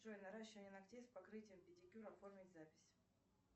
джой наращивание ногтей с покрытием педикюр оформить запись